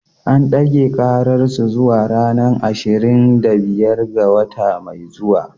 An dage karar su zuwa ranar ashirin da biyar ga wata mai zuwa.